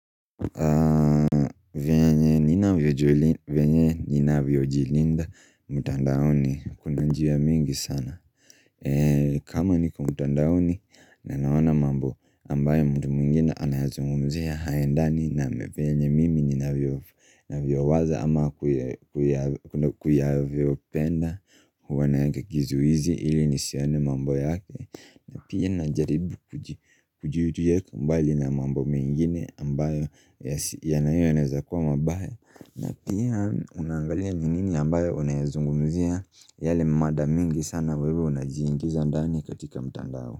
Venye nina vyojilinda mtandaoni kuna njia mingi sana kama niko mtandaoni na naona mambo ambayo mtu mwingine anayazungumzia hayaendani na vyenye mimi nina vyo waza ama kuyayo vyo penda huwana kizuizi ili nisione mambo yake na pia na jaribu kujiutu yeko mbali na mambo mengine ambayo yanayoweza kuwa mabaya na pia unaangalia ni nini ambayo unayazungumzia yale mada mingi sana wewe unajiingiza ndani katika mtandao.